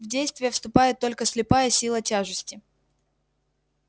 в действие вступает только слепая сила тяжести